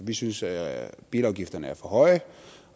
vi synes at bilafgifterne er for høje